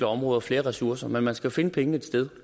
områder flere ressourcer men man skal finde pengene et sted